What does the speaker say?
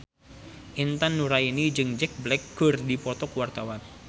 Intan Nuraini jeung Jack Black keur dipoto ku wartawan